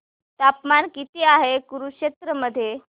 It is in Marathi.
तापमान किती आहे कुरुक्षेत्र मध्ये